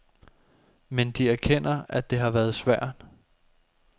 Men de erkender, at det har været svært.